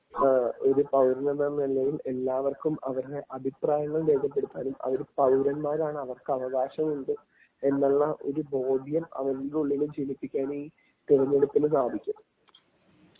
ങാ.. ഒരു പൗരനെന്ന നിലയിൽ എല്ലാവര്ക്കും അവരുടെ അഭിപ്രായങ്ങൾ രേഖപ്പെടുത്താനും അവർ പൗരന്മാരാണ് അവർക്ക്‌ അവകാശങ്ങൾ ഉണ്ട് എന്നുള്ള ഒരു ബോധ്യം അവരുടെ ഉള്ളിൽ ജനിപ്പിക്കാനും ഈ തിരഞ്ഞെടുപ്പിനു സാധിക്കും.